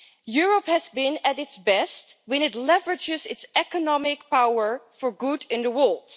Europe has been at its best when it leverages its economic power for good in the world.